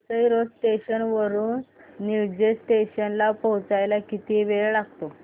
Vasai road station वरून Nilje station ला पोहचायला किती वेळ लागतो